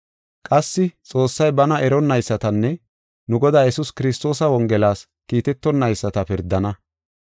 Qassi Xoossay bana eronnaysatanne nu Godaa Yesuus Kiristoosa Wongelas kiitetonayisata pirdana.